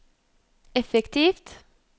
effektivt